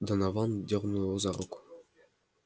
донован дёрнул его за руку